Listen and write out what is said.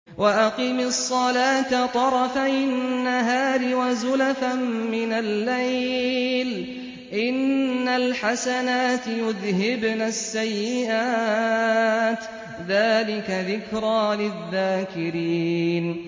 وَأَقِمِ الصَّلَاةَ طَرَفَيِ النَّهَارِ وَزُلَفًا مِّنَ اللَّيْلِ ۚ إِنَّ الْحَسَنَاتِ يُذْهِبْنَ السَّيِّئَاتِ ۚ ذَٰلِكَ ذِكْرَىٰ لِلذَّاكِرِينَ